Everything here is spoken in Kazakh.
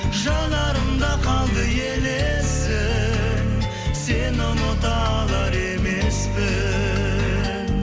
жанарымда қалды елесің сені ұмыта алар емеспін